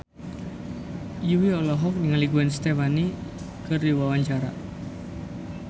Jui olohok ningali Gwen Stefani keur diwawancara